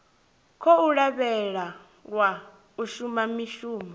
khou lavhelelwa u shuma mushumo